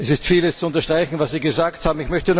Es ist vieles zu unterstreichen, was Sie gesagt haben.